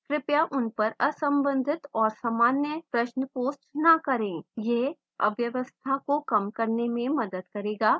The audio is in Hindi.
कृपया उन पर असंबंधित और सामान्य प्रश्न post न करें यह अव्यवस्था को कम करने में मदद करेगा